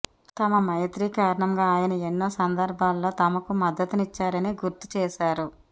తమ మైత్రి కారణంగా ఆయన ఎన్నో సందర్భాల్లో తమకు మద్దతిచ్చారని గుర్తుచేశారు